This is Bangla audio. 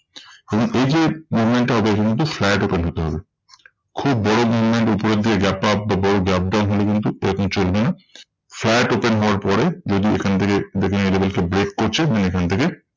তবে এই যে movement টা হবে এটা কিন্তু flat open হতে হবে। খুব বড় movement উপরের দিকে gap up বা বড় gap down হলে কিন্তু এরকম চলবে না। flat open হওয়ার পরে যদি এখান থেকে দেখে নিন এই level কে break করছে then এখান থেকে